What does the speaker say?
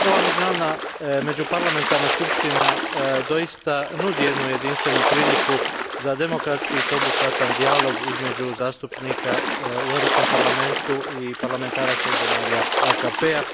Ova međuparlamentarna skupština doista nudi jednu jedinstvenu priliku za demokratski sveobuhvatan dijalog između zastupnika u Europskom parlamentu i parlamentaraca iz zemalja AKP a.